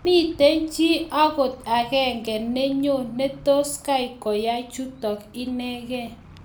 Mamito chii agot ag'eng ne nyoo ne tos koyai kuchotok inegei